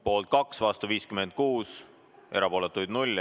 Poolt on 2, vastu 56 ja erapooletuid ei ole.